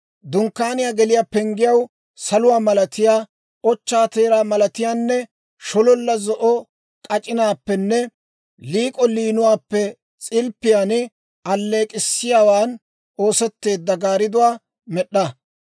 «Dunkkaaniyaa geliyaa penggiyaw saluwaa malatiyaa, ochchaa teeraa malatiyaanne shololla zo'o k'ac'inaappenne liik'o liinuwaappe s'ilppiyaan alleek'k'issiyaawaan oosetteedda gaardduwaa med'd'a.